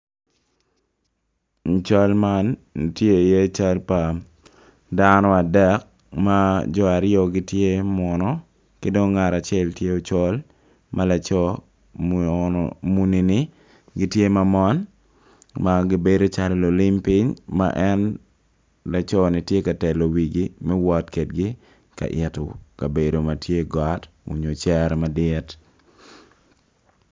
I cal man tye iye cal pa dano adek ma jo aryo gitye munu ki dong ngat acel tye ocol ma laco munini gitye ma mon ma gibedo calo lulim ping laconi tye ka telo wigi me wot ka yito kabedo ma tye got onyo cere.